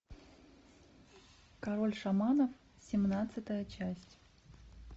король шаманов семнадцатая часть